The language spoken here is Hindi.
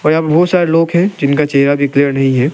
और यहां पे बहोत सारे लोग है जिनका चेहरा भी क्लीयर नही है।